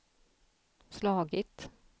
slagit